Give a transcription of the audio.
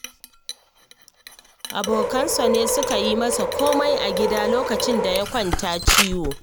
Abokansa ne suke yi masa komai a gida lokacin da ya kwanta ciwo